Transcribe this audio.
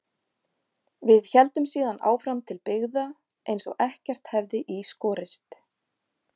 Við héldum síðan áfram til byggða eins og ekkert hefði í skorist.